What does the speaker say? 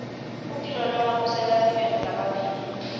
kutilolonga kusenta sibe ngulabaphilile